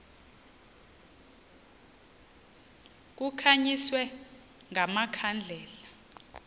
kukhanyiswe nga makhandlela